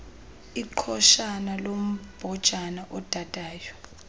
iqhoshana lombhojana odadayo